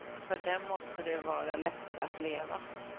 För dem måste det vara lättare att leva.